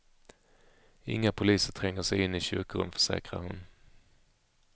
Inga poliser tränger sig in i kyrkorum, försäkrar hon.